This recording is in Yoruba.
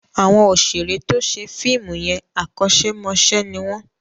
Àwọn òṣèré tó ṣe fíìmù yẹn, akọ́ṣẹ́ mọṣẹ́ ni wọ́n.